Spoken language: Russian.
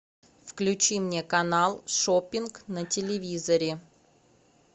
включи мне канал шоппинг на телевизоре